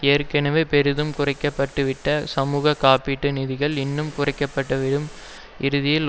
ஏற்கவே பெரிதும் குறைக்கப்பட்டுவிட்ட சமூக காப்பீட்டு நிதிகள் இன்னும் குறைக்கப்பட்டுவிடும் இறுதியில்